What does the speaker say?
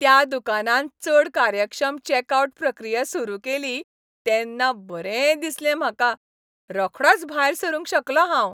त्या दुकानान चड कार्यक्षम चेकआउट प्रक्रिया सुरू केली तेन्ना बरें दिसलें म्हाका. रोखडोच भायर सरूंक शकलों हांव.